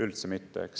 Üldse mitte, eks!